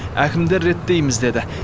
әкімдер реттейміз деді